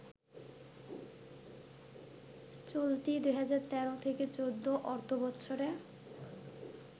চলতি ২০১৩-১৪ অর্থবছরে